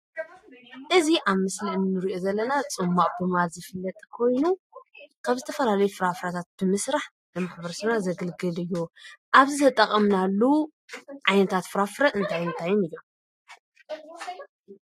እዚ ኣብ ምስሊ እንሪኦ ዘለና ፅሟቐ ብምባል ዝፍለጥ ኮይኑ ካብ ዝተፈላለዩ ፍራፍረታት ብምስራሕ ንማ/ሰብና ዘግልግል እዩ፡፡ ኣብዚ ዝተቐምናሉ ዓይታት ፍራፍረ እንታይን እንታይን እዮም?